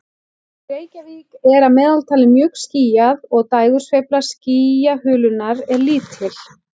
Í Reykjavík er að meðaltali mjög skýjað og dægursveifla skýjahulunnar er lítil.